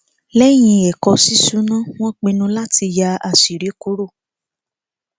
lẹyìn ẹkọ ṣíṣúná wọn pinnu láti yà àṣírí kúrò